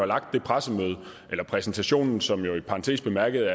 lagt det pressemøde eller præsentationen som jo i parentes bemærket